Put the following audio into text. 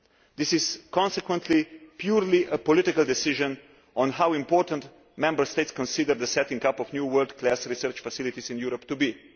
This is consequently purely a political decision on how important Member States consider the setting up of new world class research facilities in Europe to